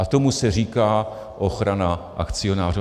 A tomu se říká ochrana akcionářů.